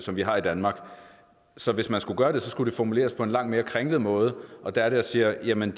vi har i danmark så hvis man skulle gøre det skulle det formuleres på en langt mere kringlet måde og der er det jeg siger jamen